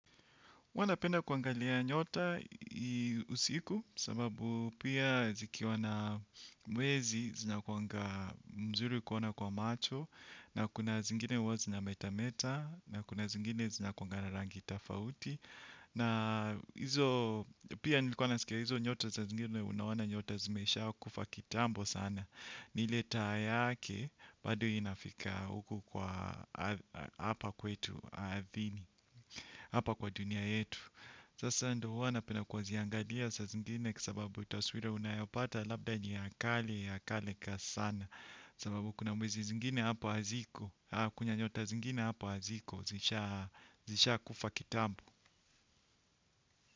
Huwa napenda kuangalia nyota usiku sababu pia zikiwa na mwezi zinakuanga mzuri kuona kwa macho na kuna zingine huwa zinametameta na kuna zingine zinakuanga na rangi tafauti na pia nilikuwa naskia hizo nyota saa zingine unaona nyota zimeshakufa kitambo sana ni ile taa yake bado inafika huku kwa hapa kwetu ardhini. Hapa kwa dunia yetu sasa ndo huwa napenda kuziangalia saa zingine kwa sababu taswira unayopata labda ni ha kale sana. Kwa sababu kuna mwezi zingine hapa haziko. Kunya nyota zingine hapa haziko. Zishakufa kitambo.